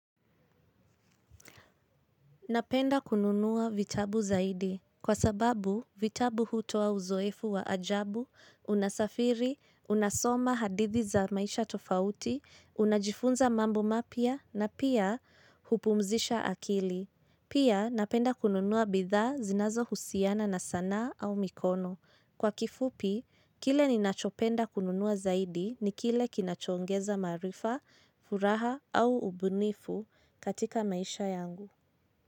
Napenda kununua vitabu zaidi kwa sababu vitabu hutoa uzoefu wa ajabu, unasafiri, unasoma hadithi za maisha tofauti, unajifunza mambo mapya na pia hupumzisha akili. Pia napenda kununua bidhaa zinazo husiana na sanaa au mikono. Kwa kifupi, kile ninachopenda kununua zaidi ni kile kinachoongeza maarifa, furaha au ubunifu katika maisha yangu.